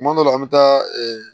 Tuma dɔw la an bɛ taa